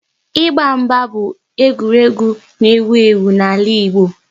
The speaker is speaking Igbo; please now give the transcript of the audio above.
Ịgba mgba bụ egwuregwu n'ewu ewu n'ala Igbo